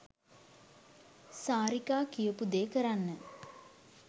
සාරිකා කියපු දේ කරන්න.